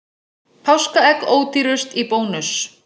Páskaegg ódýrust í Bónus